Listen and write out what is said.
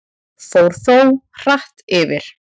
Fór þó hratt yfir.